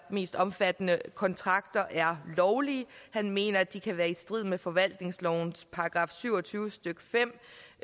mest omfattende kontrakter er lovlige han mener at de kan være i strid med forvaltningslovens § syv og tyve stykke fem